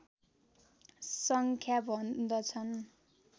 सङ्ख्या भन्दछन्